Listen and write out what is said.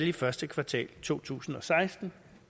i første kvartal af to tusind og seksten